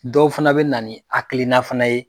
Dɔw fana bɛ na hakilina fana ye